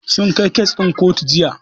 Sun kai kes ɗin kotu Jiya.